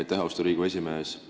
Aitäh, austatud Riigikogu esimees!